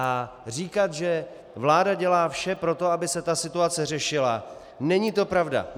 A říkat, že vláda dělá vše pro to, aby se ta situace řešila - není to pravda.